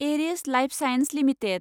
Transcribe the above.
Eris lifesciences limited